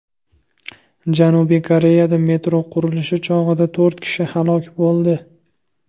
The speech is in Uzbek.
Janubiy Koreyada metro qurilishi chog‘ida to‘rt kishi halok bo‘ldi.